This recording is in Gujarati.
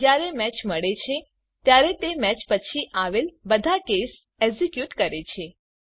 જયારે મેચ મળે છે ત્યારે તે મેચ પછી આવેલ બધા કેસ એક્ઝીક્યુટ કરે છે